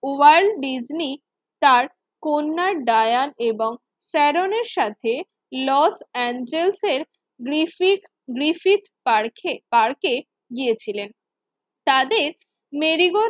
World Disney তার কন্যা Diane এবং সেরণের সাথে লস এঞ্জেলসের এর গ্রিফিত গ্রিফিট পার্কে পার্কে গিয়েছিলেন। তাদের মেরিগো